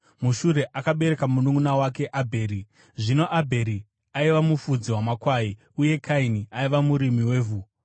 Mushure akabereka mununʼuna wake Abheri. Zvino Abheri aiva mufudzi wamakwai, uye Kaini aiva murimi wevhu.